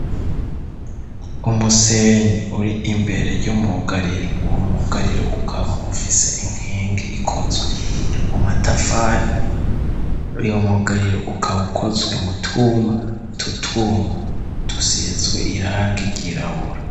Umusenyi uri imbere y'umugariro uwo mugariro ukaba ufise inkingi ikozwe mu matafari uyo mugariro ukaba ukozwe mu twuma, twutuma dusizwe irangi ryirabura.